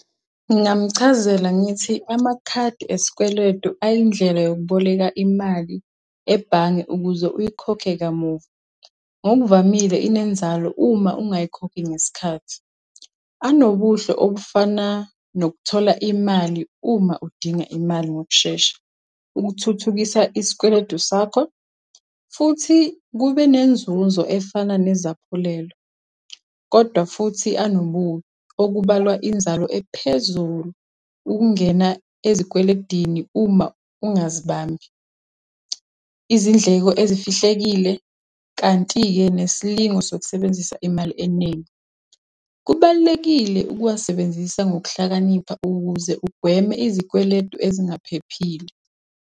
Ngingamchazela ngithi amakhadi esikweletu ayindlela yokubolekela imali ebhange ukuze uyikhokhe kamuva, ngokuvamile inenzalo uma ungayikhokhi ngesikhathi. Anobuhle obufana nokuthola imali uma udinga imali ngokushesha ukuthuthukisa isikweletu sakho, futhi kube nenzuzo efana nezaphulelo. Kodwa futhi anobubi, okubalwa inzalo ephezulu, ukungena ezikweledini uma ungazibambi, izindleko ezifihlekile, kanti-ke nesilingo sokubenzisa imali eningi. Kubalulekile ukuwasebenzisa ngokuhlakanipha ukuze ugweme izikweletu ezingaphephile.